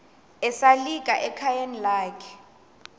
esalika ekhayeni lakhe